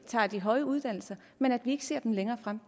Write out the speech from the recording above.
tager de høje uddannelser men ikke ser dem længere fremme